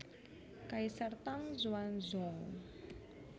Kaisar Tang Xuanzong